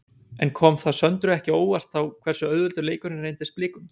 En kom það Söndru ekki á óvart þá hversu auðveldur leikurinn reyndist Blikum?